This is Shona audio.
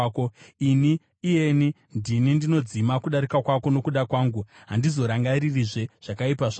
“Ini, iyeni, ndini ndinodzima kudarika kwako, nokuda kwangu, handizorangaririzve zvakaipa zvako.